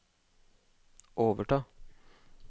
overta